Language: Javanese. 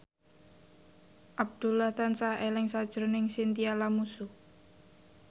Abdullah tansah eling sakjroning Chintya Lamusu